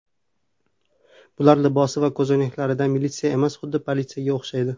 Bular libosi va ko‘zoynaklaridan militsiya emas, xuddi politsiyaga o‘xshaydi!